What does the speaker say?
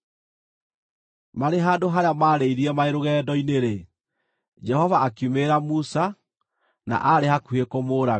Marĩ handũ harĩa mararĩrĩire marĩ rũgendo-inĩ-rĩ, Jehova akiumĩrĩra Musa, na aarĩ hakuhĩ kũmũũraga.